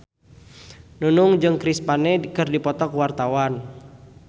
Nunung jeung Chris Pane keur dipoto ku wartawan